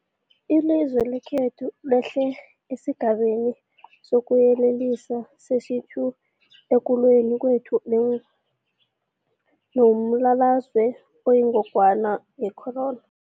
Ilizwe lekhethu lehlele esiGabeni sokuYelelisa sesi-2 ekulweni kwethu nombulalazwe oyingogwana ye-corona.